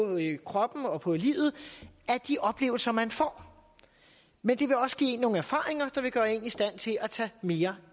kroppen og på livet af de oplevelser man får men det vil også give en nogle erfaringer der vil gøre en i stand til at tage mere